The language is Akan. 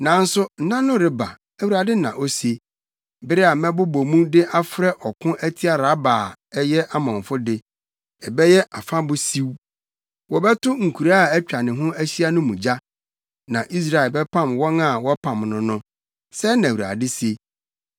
Nanso nna no reba,” Awurade na ose. “Bere a mɛbobɔ mu de afrɛ ɔko atia Raba a ɛyɛ Amonfo de; ɛbɛyɛ afabo siw, wɔbɛto nkuraa a atwa ne ho ahyia no mu gya. Na Israel bɛpam wɔn a wɔpam no no,” sɛɛ na Awurade se.